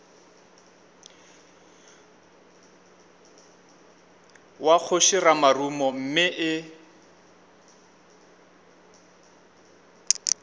wa kgoši ramarumo mme e